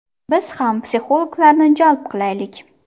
Biz ham psixologlarni jalb qilaylik.